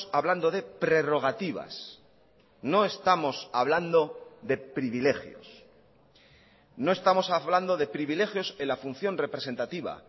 hablando de prerrogativas no estamos hablando de privilegios no estamos hablando de privilegios en la función representativa